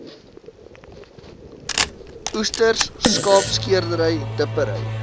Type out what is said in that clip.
oesters skaapskeerdery dippery